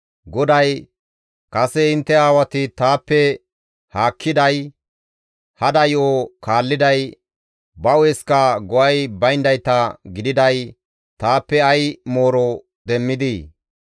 GODAY, «Kase intte aawati taappe haakkiday, hada yo7o kaalliday, ba hu7esikka go7ay bayndayta gididay taappe ay mooro demmidii?